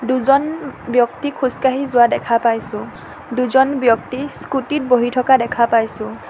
দুজন ব্যক্তি খোজ কাঢ়ি যোৱা দেখা পাইছোঁ দুজন ব্যক্তি স্কুটিত বহি থকা দেখা পাইছোঁ।